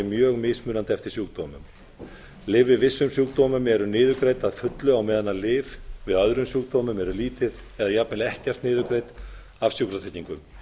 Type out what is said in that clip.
mjög mismunandi eftir sjúkdómum leyfi við vissum sjúkdómum eru niðurgreidd að fullu á meðan lyf við öðrum sjúkdómum eru lítið eða jafnvel ekkert niðurgreidd af sjúkratryggingum